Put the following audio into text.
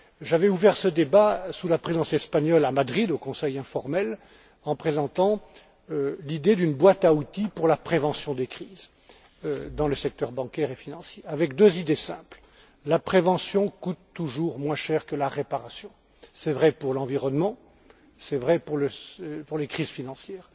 J'avais ouvert ce débat sous la Présidence espagnole à Madrid, au Conseil informel, en présentant l'idée d'une boîte à outils pour la prévention des crises dans le secteur bancaire et financier avec deux idées simples la prévention coûte toujours moins cher que la réparation c'est vrai pour l'environnement, c'est vrai pour les crises financières